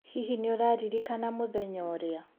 Hihi nĩ ũraririkana mũthenya ũrĩa.